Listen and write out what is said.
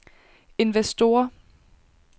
investorer